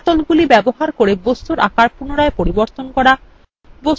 হ্যান্ডলগুলি ব্যবহার re বস্তুর আকার পুনরায় পরিবর্তন re